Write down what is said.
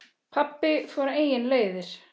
Pabbi fór eigin leiðir.